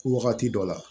Wagati dɔ la